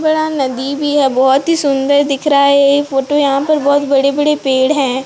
बड़ा नदी भी है बहोत ही सुंदर दिख रहा है यह फोटो यहां पर बहुत बड़े बड़े पेड़ है।